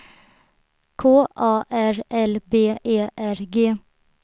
K A R L B E R G